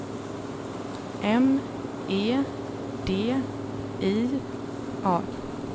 M E D I A